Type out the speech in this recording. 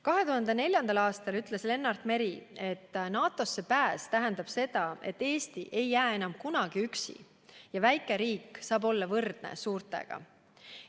2004. aastal ütles Lennart Meri, et NATO-sse pääs tähendab seda, et Eesti ei jää enam kunagi üksi ja väikeriik saab olla võrdne suurtega.